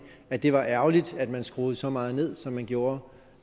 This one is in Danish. at det var ærgerligt at man skruede så meget ned som man gjorde